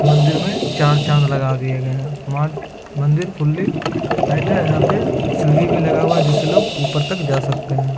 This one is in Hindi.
मंदिर मे चार चाँद लगा दिय गए हैं| माल मंदिर फुली टाइट है | यहाँ पे सीढ़ी भी लगा हुआ है जिससे लोग ऊपर तक जा सकते है।